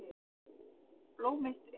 Blóm eitt er.